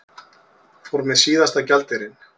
Fór með síðasta gjaldeyrinn